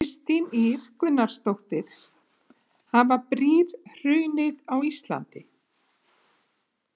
Kristín Ýr Gunnarsdóttir: Hafa brýr hrunið á Íslandi?